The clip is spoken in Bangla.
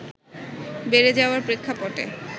বেড়ে যাওয়ার প্রেক্ষাপটে